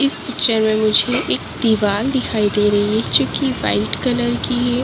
इस पिक्चर मुझे एक दीवार दिखाई दे रही है जो कि व्हाइट कलर की है।